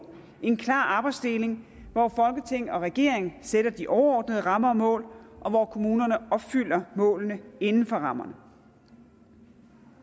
en klar arbejdsdeling hvor folketing og regering sætter de overordnede rammer og mål og hvor kommunerne opfylder målene inden for rammerne